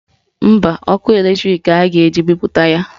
Mba, ọkụ latrik ka a ga-eji bipụta ya